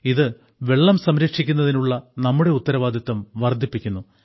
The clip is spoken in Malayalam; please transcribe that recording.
ഇത് വെള്ളം സംരംക്ഷിക്കുന്നതിനുള്ള നമ്മുടെ ഉത്തരവാദിത്തം വർദ്ധിപ്പിക്കുന്നു